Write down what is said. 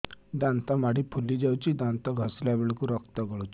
ଦାନ୍ତ ମାଢ଼ୀ ଫୁଲି ଯାଉଛି ଦାନ୍ତ ଘଷିଲା ବେଳକୁ ରକ୍ତ ଗଳୁଛି